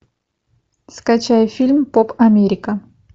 скачай фильм поп америка